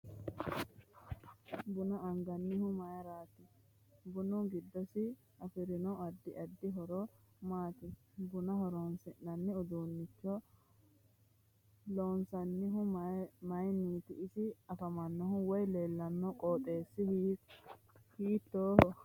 Buna anganihu mayiirati bunu giddosi afirino addi addi horo maati buna horoonsinani uduunicho loonsoonihu mayiiniti isi afamanno woy leelano qoxeesi hiitooho